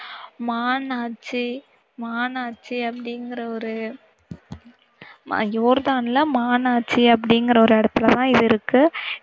மாநாட்சி மாநாட்சி அப்படிங்கிற ஒரு யோர்தான்ல மாநாட்சி அப்படிங்கற ஒரு இடத்துல தான் இது இருக்கு.